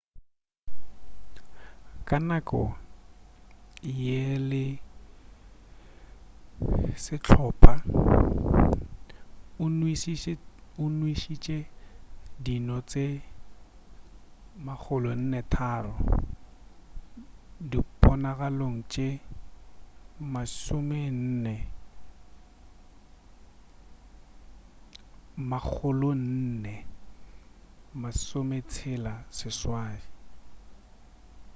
ka nako ye le sehlopha o nwešitše dino tše 403 diponagalong tše 468